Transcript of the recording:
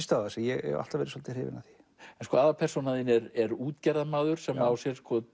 stöðva sig ég hef alltaf verið svolítið hrifinn af því aðalpersóna þín er er útgerðarmaður sem á sér